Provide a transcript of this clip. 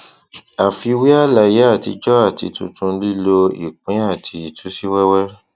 àfiwé àlàyé atijọ àti tuntun lílo ìpín àti ìtúsíwẹwẹ